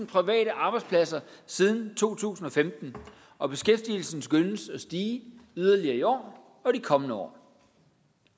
private arbejdspladser siden to tusind og femten og beskæftigelsen skønnes at stige yderligere i år og de kommende år